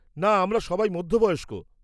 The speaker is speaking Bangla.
না, আমরা সবাই মধ্যবয়স্ক।